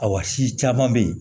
Ayiwa si caman be ye